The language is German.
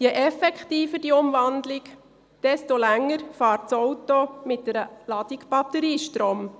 Je effektiver diese Umwandlung ist, desto länger fährt das Auto mit einer Ladung Batteriestrom.